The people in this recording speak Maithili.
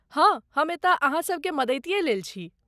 हाँ, हम एतय अहाँ सभके मदतिये लेल छी।